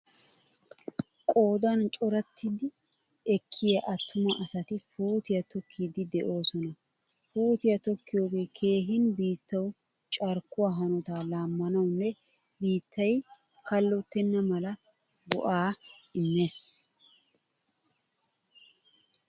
Qoodan corattidi ekkiya attuma asati puutiyaa tokkidi deosona. Puutiyaa tokkiyoge keehin biittawu carkkuwaa hanotta laammanawunne biittay kallottena mala go'aa immees..